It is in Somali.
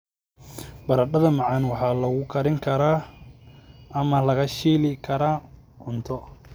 Baradhada macaan waxaa lagu karin karaa ama la shiili karaa cunto.